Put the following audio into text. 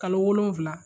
Kalo wolonfila